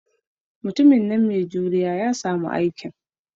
Mai juriya ya sami aikin.